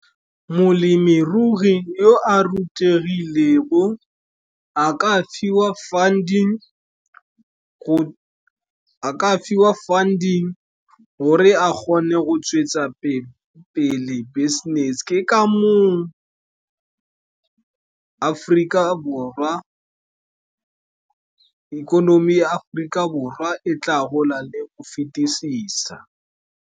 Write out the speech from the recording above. Molemirui yo a rutegilego, a ka fiwa funding gore a kgone go tswetsa pele business. Ke ka moo ikonomi ya Aforika Borwa e tla golang le go fetisisa.